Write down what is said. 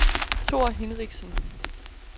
Thor Hinrichsen